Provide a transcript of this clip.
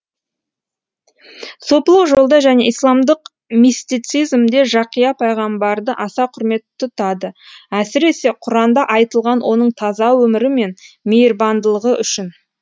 сопылық жолда және исламдық мистицизмде жақия пайғамбарды аса құрмет тұтады әсіресе құранда айтылған оның таза өмірі мен мейірбандылығы үшін